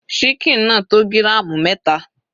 Síkìn náà tó gíràmù mẹta.